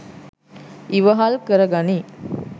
ඉවහල් කර ගනී